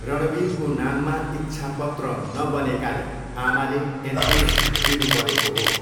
रणवीरको नाममा इच्छापत्र नबनेकाले आमाले एनओसी दिनुपरेको हो।